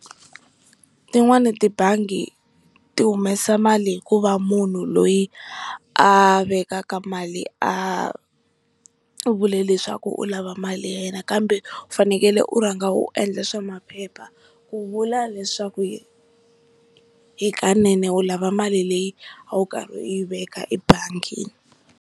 Tin'wani tibangi ti humesa mali hikuva munhu loyi a vekaka mali a vule leswaku u lava mali ya yena kambe u fanekele u rhanga u endle swa maphepha ku vula leswaku hi hikanene u lava mali leyi a wu karhi wu yi veka ebangi.